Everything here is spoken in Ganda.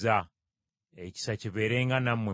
Ekisa kibeerenga nammwe mwenna.